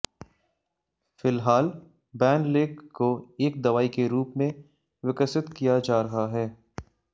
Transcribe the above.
फिलहाल बैनलेक को एक दवाई के रूप में विकसित किया जा रहा है